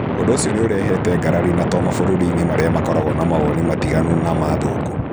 Ũndũ ũcio nĩ ũreũete ngarari na to mavũrũri-inĩ marĩa makoragwo na mawoni matiganu na ma athũngũ.